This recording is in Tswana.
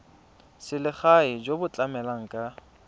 selegae jo bo tlamelang ka